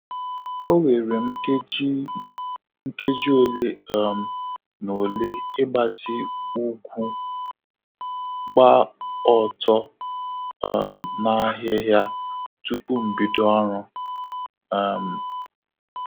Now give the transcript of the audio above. O were m nkeji m nkeji ole um na ole ịgbatị ụgwụ, gba ọtọ um n'ahịhịa tupu m bido ọrụ. um